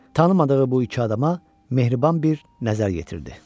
Tanımadığı bu iki adama mehriban bir nəzər yetirdi.